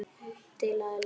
Til að elska.